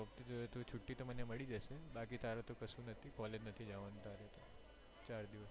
જોયે તો છૂટી તો મને મળી જશે તારે તો કશુજ નથી college નથી જવાનું તારે ચાર દિવસ